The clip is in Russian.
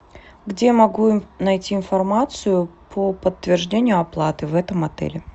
где могу найти информацию по подтверждению оплаты в этом отеле